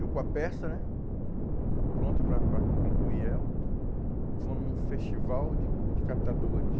Eu, com a peça né, pronto para para concluir ela, vou num festival de de catadores.